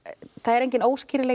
enginn